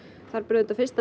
þar ber auðvitað fyrst að